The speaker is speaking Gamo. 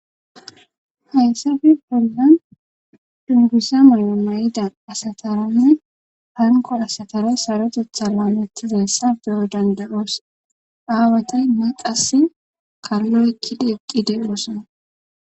hayssappe bolnan dunbusa moyo mayidan asataranne hanko asatara saro jetha laametizassa beyo dandaroos aawatenne qass kallo ekkide eqqideoossona